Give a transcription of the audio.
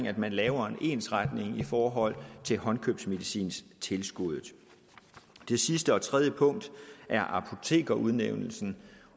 at man laver en ensretning i forhold til håndkøbsmedicintilskuddet det sidste og tredje punkt er apotekerudnævnelsen